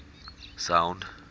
sound